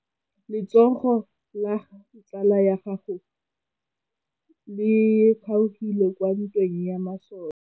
Letsôgô la tsala ya gagwe le kgaogile kwa ntweng ya masole.